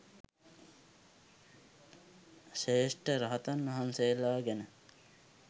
ශ්‍රේෂ්ඨ රහතන් වහන්සේලා ගැන